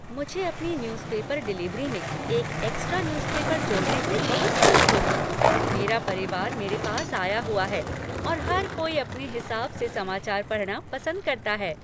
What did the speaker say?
मुझे अपनी newspaper delivery में एक एक्स्ट्रा न्यूज पेपर जोड़ने से बहुत खुशी होगी! मेरा परिवार मेरे पास आया हुआ है और हर कोई अपने हिसाब से समाचार पढ़ना पसंद करता है।